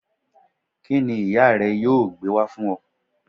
Kíni ìyá rè yóò gbé wá fún o